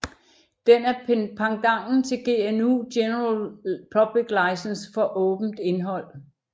Den er pendanten til GNU General Public License for åbent indhold